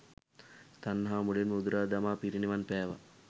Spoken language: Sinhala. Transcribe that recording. තණ්හාව මුලින්ම උදුරා දමා පිරිනිවන් පෑවා.